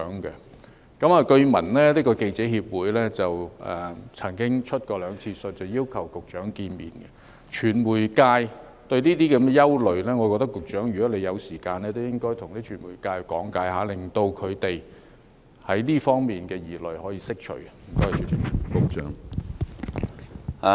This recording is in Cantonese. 據聞香港記者協會曾經兩次去信要求與局長見面，就傳媒界對這方面的憂慮，我認為局長如果有時間，都應該向傳媒界講解，令他們在這方面的疑慮可以釋除。